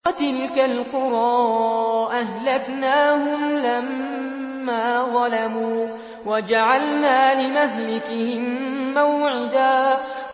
وَتِلْكَ الْقُرَىٰ أَهْلَكْنَاهُمْ لَمَّا ظَلَمُوا وَجَعَلْنَا لِمَهْلِكِهِم مَّوْعِدًا